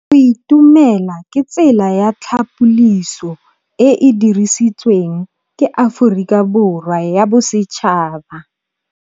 Go itumela ke tsela ya tlhapolisô e e dirisitsweng ke Aforika Borwa ya Bosetšhaba.